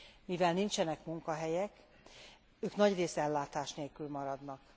Mivel nincsenek munkahelyek, ők nagyrészt ellátás nélkül maradnak.